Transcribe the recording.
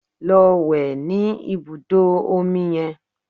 Lọ wẹ̀ ní ibùdó omi yẹn!